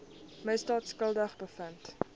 misdaad skuldig bevind